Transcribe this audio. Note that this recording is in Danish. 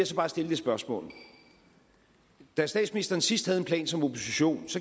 så bare stille et spørgsmål da statsministeren sidst havde en plan som opposition